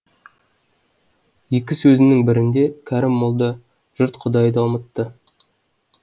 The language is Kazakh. екі сөзінің бірінде кәрім молда жұрт құдайды ұмытты